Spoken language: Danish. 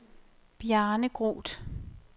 Bjarne Groth